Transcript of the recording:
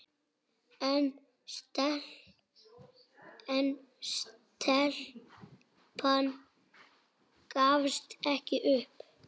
En stelpan gafst ekki upp.